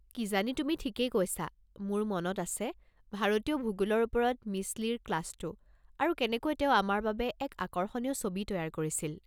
কিজানি তুমি ঠিকেই কৈছা! মোৰ মনত আছে ভাৰতীয় ভূগোলৰ ওপৰত মিছ লিৰ ক্লাছটো, আৰু কেনেকৈ তেওঁ আমাৰ বাবে এক আকৰ্ষণীয় ছবি তৈয়াৰ কৰিছিল।